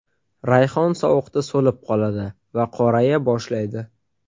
Rayhon sovuqda so‘lib qoladi va qoraya boshlaydi.